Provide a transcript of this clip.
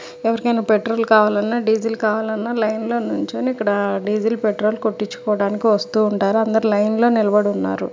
ఎవరికైనా పెట్రోల్ కావాలన్న డీజిల్ కావాలన్న లైన్ లో నిలుచొని ఇక్కడ డీజిల్ పెట్రోల్ కొట్టిచ్చుకోడానికి వస్తు ఉంటారు. అందరు లైన్ లో నిలబడి ఉన్నారు.